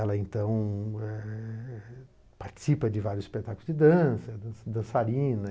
Ela então eh participa de vários espetáculos de dança, é dançarina.